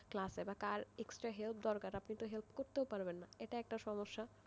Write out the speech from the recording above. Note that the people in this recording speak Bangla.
ক্লাসে কার extra help দরকার আপনি তো help করতে পারবেন না, এটা একটা সমস্যা,